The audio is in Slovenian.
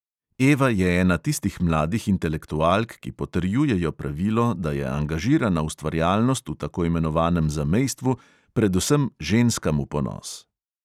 Eva je ena tistih mladih intelektualk, ki potrjujejo pravilo, da je angažirana ustvarjalnost v tako imenovanem zamejstvu predvsem ženskam v ponos.